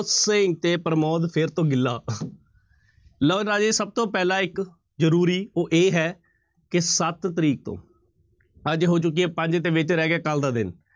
ਤੇ ਪ੍ਰਮੋਦ ਫਿਰ ਤੋਂ ਗਿੱਲਾ ਲਓ ਰਾਜੇ ਸਭ ਤੋਂ ਪਹਿਲਾਂ ਇੱਕ ਜ਼ਰੂਰੀ ਉਹ ਇਹ ਹੈ ਕਿ ਸੱਤ ਤਰੀਕ ਤੋਂ ਅੱਜ ਹੋ ਚੁੱਕੀ ਹੈ ਪੰਜ ਤੇ ਵਿੱਚ ਰਹਿ ਗਿਆ ਕੱਲ੍ਹ ਦਾ ਦਿਨ